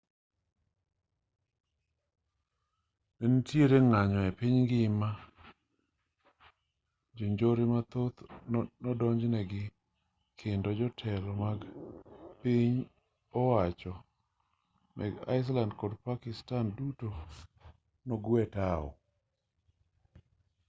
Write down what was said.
ne nitiere ng'anyo e piny ngima jonjore mathoth nodonj negi kendo jotelo mag piny owacho mag iceland kod pakistan duto nogwe tao